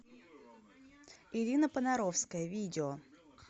ирина понаровская видео